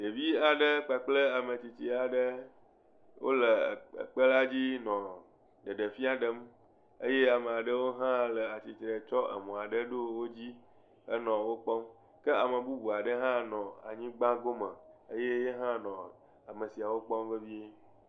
Ɖevi aɖe kple ame tsitsi aɖe wonɔ ekpela dzi nɔɔ ɖeɖefia ɖem eye ame aɖewo hã le atsitre tsɔ emɔ aɖe ɖo wo dzi henɔ wokpɔm. Ke ame bubu aɖe hã nɔ anyigba gome eye ya hã nɔ ame siawo kpɔm vevie.